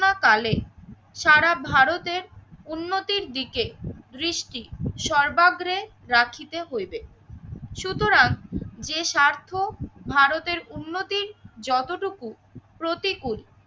কালে সারা ভারতের উন্নতির দিকে দৃষ্টি সর্বাবে রাখিতে হইবে সুতরাং যে স্বার্থ ভারতের উন্নতি যতটুকু প্রতিকূল